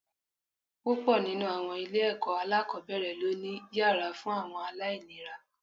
Púpọ̀ nínú àwọn ilé-ẹ̀kọ́ alákọ̀ọ́bẹ̀rẹ̀ ló ni yàrá fún àwọn aláìléra